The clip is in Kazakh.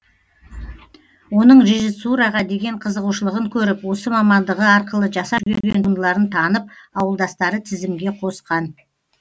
оның режиссураға деген қызығушылығын көріп осы мамандығы арқылы жасап жүрген туындыларын танып ауылдастары тізімге қосқан